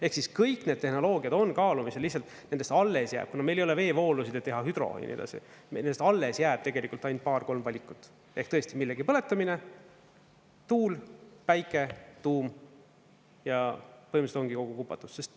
Ehk siis kõik need tehnoloogiad on kaalumisel, lihtsalt nendest alles jääb, kuna meil ei ole veevoolusid, et teha hüdro ja nii edasi, nendest alles jääb tegelikult ainult paar-kolm valikut ehk tõesti millegi põletamine, tuul, päike, tuum, ja põhimõtteliselt ongi kogu kupatus.